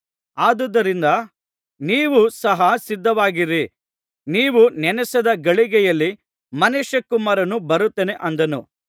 ಅದುದರಿಂದ ನೀವು ಸಹ ಸಿದ್ಧವಾಗಿರಿ ನೀವು ನೆನಸದ ಗಳಿಗೆಯಲ್ಲಿ ಮನುಷ್ಯಕುಮಾರನು ಬರುತ್ತಾನೆ ಅಂದನು